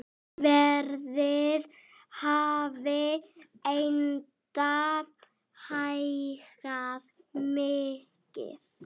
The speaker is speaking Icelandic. Verðið hafi enda hækkað mikið.